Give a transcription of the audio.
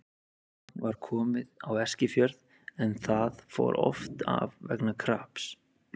Rafmagn var komið á Eskifjörð en það fór oft af vegna kraps.